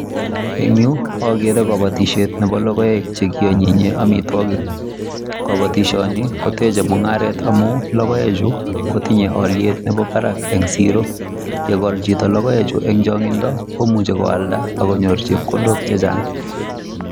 Eng yuu agere kabatisyeet chebo logoek che ki anyinyeen amitwagik kabatisyeet ni ko techei mungaret amuun logoek chuu kotingei aliet nebo Barak en siro yegol chitoo logoek chuu eng changing komuchei ko aldaa akenyoor chepkondok che chaang.